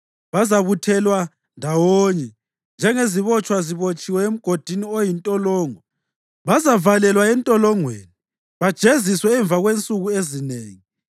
Bazabuthelwa ndawonye njengezibotshwa zibotshiwe emgodini oyintolongo. Bazavalelwa entolongweni bajeziswe emva kwensuku ezinengi.